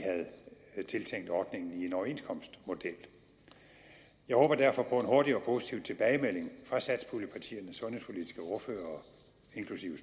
havde tiltænkt ordningen i en overenskomstmodel jeg håber derfor på en hurtig og positiv tilbagemelding fra satspuljepartiernes sundhedspolitiske ordførere inklusiv